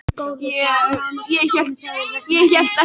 Ég held við séum ákaflega ólík eftir allt saman.